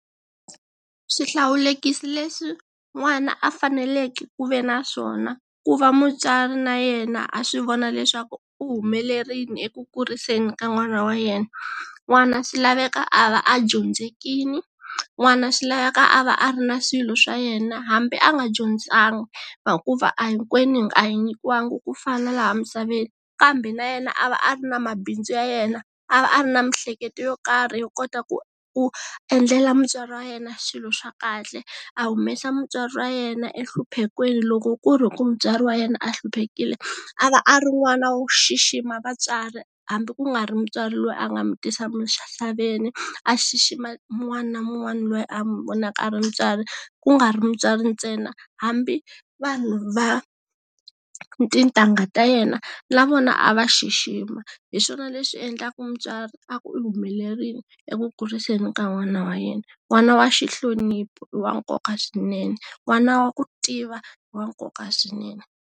Swihlawulekisi leswi n'wana a faneleke ku ve naswona ku va mutswari na yena a swi vona leswaku u humelerile eku kuriseni ka n'wana wa yena n'wana swi laveka a va a dyondzekile, n'wana swi laveka a va a ri na swilo swa yena hambi a nga dyondzanga hikuva a hinkwenu a hi nyikiwanga ku fana laha misaveni kambe na yena a va a ri na mabindzu ya yena a va a ri na miehleketo yo karhi yo kota ku ku endlela mutswari wa yena swilo swa kahle a humesa mutswari wa yena enhluphekweni loko ku ri ku mutswari wa yena a hluphekile a va a ri n'wana wo xixima vatswari hambi ku nga ri mutswari loyi a nga mu tisa misaveni a xixima wun'wana na wun'wana loyi a mu vonaka a ri mutswari ku nga ri mutswari ntsena hambi vanhu va tintangha ta yena na vona a va xixima hi swona leswi endlaka mutswari a ku u humelerile eku kuriseni ka n'wana wa yena n'wana wa xi hlonipa i wa nkoka swinene, n'wana wa ku tiva i wa nkoka swinene.